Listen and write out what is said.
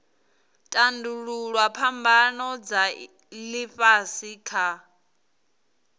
tandululwa phambano dza ifhasi kha